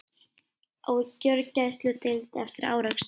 Á gjörgæsludeild eftir árekstur